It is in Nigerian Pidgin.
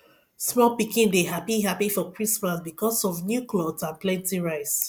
small pikin dey happy happy for christmas because of new cloth and plenty rice